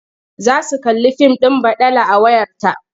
Za su kalli fim ɗin baɗala a wayarta.